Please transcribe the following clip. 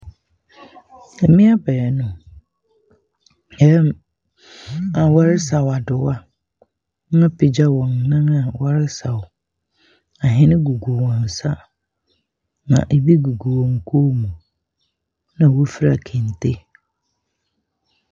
Mmea baanu re a wɔresaw adowa. Wɔn apanya wɔn nan a wɔresaw. Ahwene gugu wɔn nsa, na bi gugu wɔn kɔn mu. Na wɔfira kente.